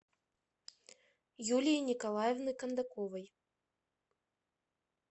юлии николаевны кондаковой